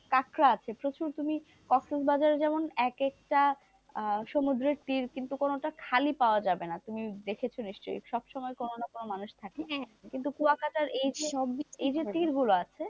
কাঁকড়া আছে প্রচুর তুমি কক্সবাজারে যেমন এক একটা সমুদ্রে কিন্তু কোনোটা খালি পাওয়া যাবে না, তুমি দেখেছো নিশ্চই সব সময় কোন না কোন মানুষ থাকে কিন্তু কুয়াকাটা এইযে গুলো আছে,